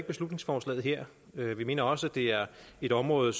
beslutningsforslaget her vi mener også det er et område